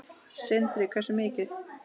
Sindri: Hversu mikið?